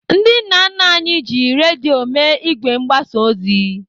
Ndị nna nna anyị ji redio mee ìgwè mgbasa ozi.